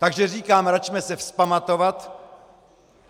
Takže říkám, račme se vzpamatovat.